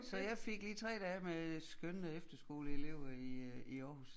Så jeg fik lige 3 dage med skønne efterskoleelever i øh i Aarhus